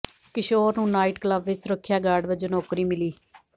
ਕਿਸ਼ੋਰ ਨੂੰ night club ਵਿਚ ਸੁਰੱਖਿਆ ਗਾਰਡ ਵਜੋਂ ਨੌਕਰੀ ਮਿਲੀ